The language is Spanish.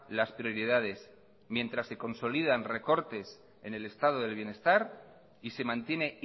las prioridades mientras se consolidan recortes en el estado del bienestar y se mantiene